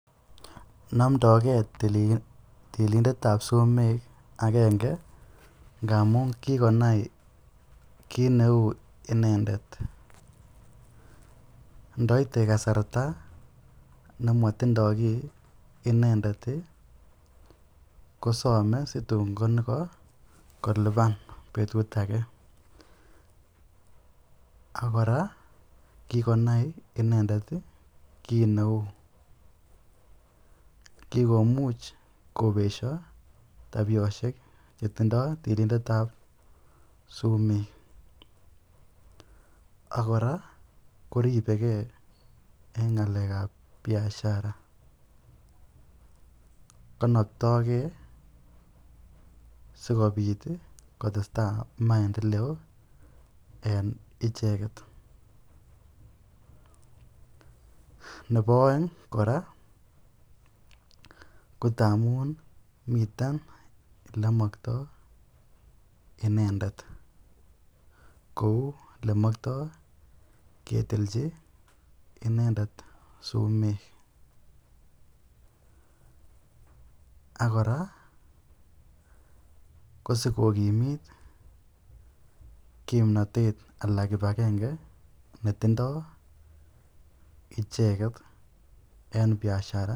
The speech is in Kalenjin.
Nomdoken bik tilindetab sumek akenge ngamun kikonai kit neu inendet, ndaite kasarta nematindo kiy inendet kosame situn konyoko liban betut aje, ako kikonai inendet kit neu ,kikomuch kobesyo taibishek chetindoi tilindetab sumek ak koraa